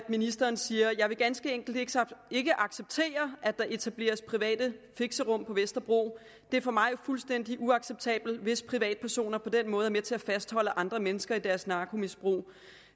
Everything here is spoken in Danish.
ministeren siger jeg vil ganske enkelt ikke acceptere at der etableres private fixerum på vesterbro det er for mig fuldstændig uacceptabelt hvis privatpersoner på den måde er med til at fastholde andre mennesker i deres narkomisbrug